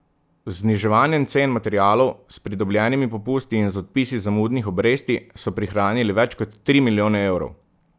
Z zniževanjem cen materialov, s pridobljenimi popusti in z odpisi zamudnih obresti so prihranili več kot tri milijone evrov.